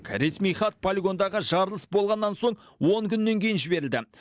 ресми хат полигондағы жарылыс болғаннан соң он күннен кейін жіберілді